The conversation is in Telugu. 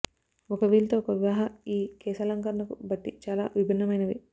ఒక వీల్ తో ఒక వివాహ ఈ కేశాలంకరణకు బట్టి చాలా విభిన్నమైనవి